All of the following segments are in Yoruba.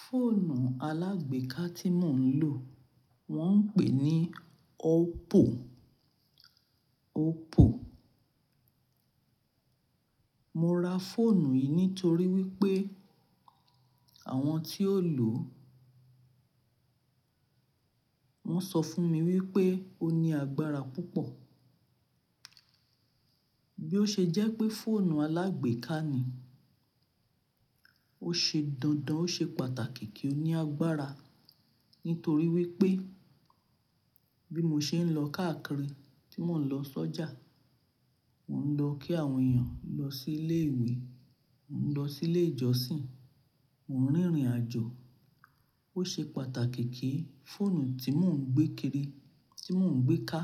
Fóònù alágbèéká tí mò ń lò wọ́n ń pè ní Oppo, Oppo. Mo ra fóònù yìí nítorí wípé àwọn tí ó lò ó, wón sọ fún mi wípé ó ní agbára púpọ̀. Bí ó ṣe jẹ́ pé fóònù alágbèéká ni, ó ṣe dandan ó ṣe pàtàkì kí ó ní agbára. Nítorí wípé bí mo ṣe ń lọ káàkiri, tí mò ń lọ sọ́jà, mò ń lọ kí àwọn èèyàn, lọ sí ilé ìwé, mò ń lọ sí ilé ìjọsìn, mò ń rìnrìn àjò. Ó ṣe pàtàkì kí fóònù tí mò ń gbé kiri, tí mò ń gbé ká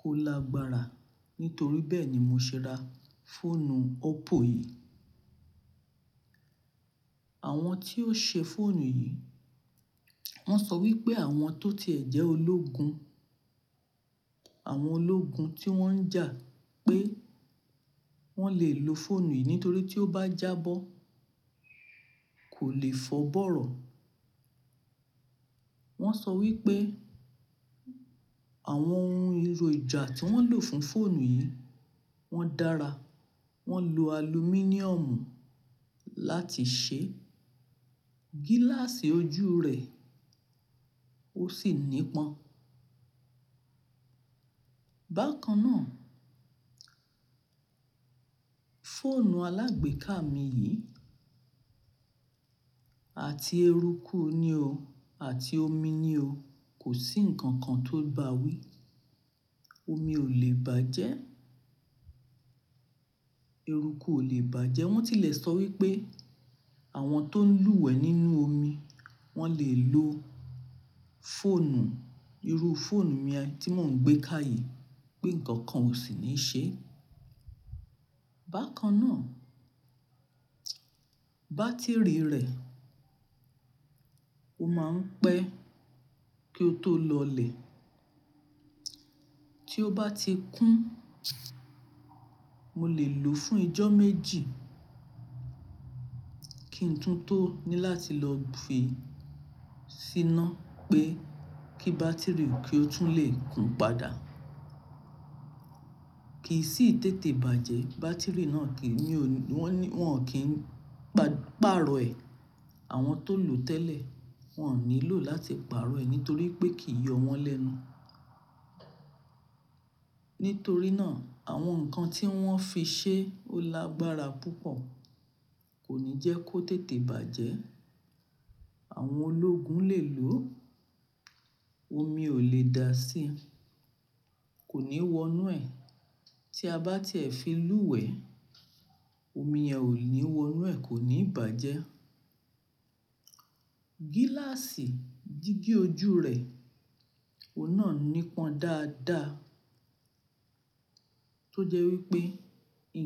kó lágbára. Nítorí bẹ́ẹ̀ ni mo ṣe ra fóònù Oppo yìí. Àwọn tí ó ṣe fóònù yìí, wón sọ wípé àwọn tó ti ẹ̀ jẹ́ ológun, àwọn ológun tí wón ń jà pé wón lè lo fóònù yìí nítorí tí ó bá jábọ́ kò lè fọ́ bọ̀rọ̀. Wón sọ wípé àwọn ohun ìròjà tí wón lò fún fóònù yìí wón dára. Wón lo alumíníọ̀mù láti ṣe gíláàsì ojú rẹ̀ ó sì nípọn. Bákan náà, fóònù alágbèéká mi yìí àti eruku nì o, àti omi nì o, kò sí ǹkan kan tó bá wí. Omi ò lè bàjẹ́, eruku ò lè bàjẹ́. Wón ti lè sọ wípé àwọn tó ń lúwẹ̀ẹ nínú omi, wón lè lo fóònù, irú fóònù mi ẹni tí mò ń gbé ká yìí pé ǹkan kan ò sì ní ṣe. Bákan náà, bátìrì rẹ̀ ó máa ń pẹ́ kí ó tó lọlẹ̀. Tí ó bá ti kún, mo lè lò ó fún ijọ́ méjì kí n tún tó ní láti lọ fi í síná pé kí bátìrì ó kí ó tún lè kún padà. Kì í sì tètè bàjẹ́, bátìrì náà kì í ní o ní, wọ́n ò kí ń gbá, pààrọ̀ ẹ̀. Àwọn tó lò ó tẹ́lẹ̀ wọ́n ò nílò láti pààrọ̀ ẹ̀ nítorí pé kì í yọ wọ́n lẹ́nu. Nítorí náà àwọn ǹkan tí wọ́n fi ṣe ó lágbára púpọ̀, kò ní jẹ́ kó tètè bàjẹ́. Àwọn ológun lè lò ó, omi ò lè da sí i, kò ní wonú ẹ̀. Tí a bá ti ẹ̀ fi lúwẹ̀ẹ́, omi ẹ ò ní wonú ẹ̀, kò ní bàjẹ́. Gíláàsì dígí ojú rẹ̀, òun náà nípọn dáadáa tó jẹ́ wípé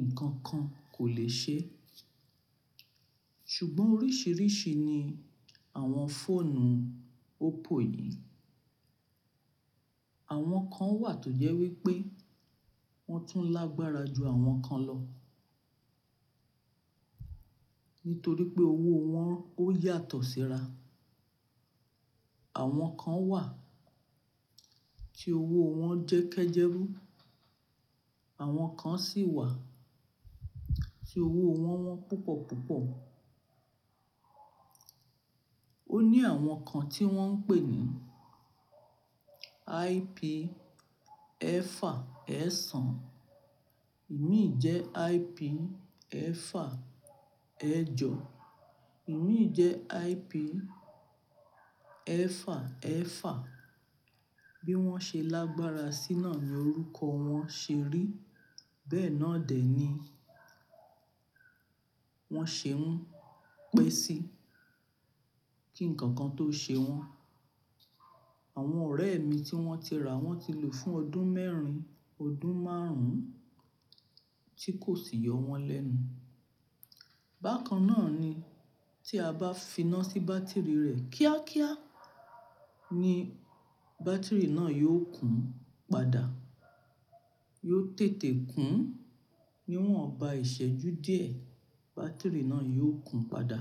ǹkan kan kò lè ṣe é. Ṣùgbọ́n oríṣiríṣi ni àwọn fóònù Oppo yìí. Àwọn kan wà tó jẹ́ wípé wọ́n tún lágbára ju àwọn kan lọ. Nítorí pé owó wọn ó yàtọ̀ síra. Àwọn kan wà tí owó wọn jẹ́ kẹ́jẹ́rú, àwọn kan sì wà tí owó wọn wọ́n púpọ̀ púpọ̀. Ó ní àwọn kan tí wọ́n ń pè ní IP ẹ̀fà ẹ̀sán, ìmií jẹ IP ẹ̀fà ẹ́jọ, ìmií jẹ IP ẹ̀fà ẹ̀fà. Bí wọ́n ṣe lágbára sí náà ni orúkọ wọn ṣe rí. Bẹ́ẹ̀ náà dè ní wọ́n ṣe ń pẹ́ sí, kí ǹkan kan tó ṣe wọ́n. Àwọn ọ̀rẹ́ mi tí wọ́n ti rà wọ́n ti lò fún ọdún mẹ́rin, ọdún márùn-ún tí kò sì yọ wọ́n lẹ́nu. Bákan náà ni tí a bá fi iná sí bátìrì rẹ̀ kíákíá ni bátìrì náà yóò kún padà. Yóò tètè kún, ní wọ́n ò bá ìṣẹ́jú díẹ̀ bátìrì náà yóò kún padà.